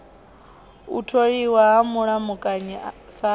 u tholiwa ha mulamukanyi sa